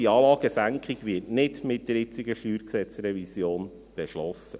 Diese Anlagesenkung wird also nicht mit der jetzigen StG-Revision beschlossen.